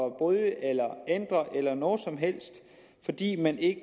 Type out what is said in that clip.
at bryde eller ændre eller noget som helst fordi man ikke